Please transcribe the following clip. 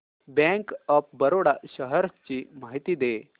bank of Baroda shares ची माहिती दे